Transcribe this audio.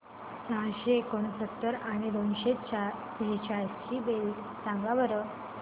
सहाशे एकोणसत्तर आणि दोनशे सेहचाळीस ची बेरीज सांगा बरं